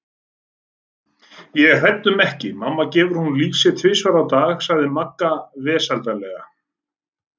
Ég er hrædd um ekki, mamma gefur honum lýsi tvisvar á dag sagði Magga vesældarlega.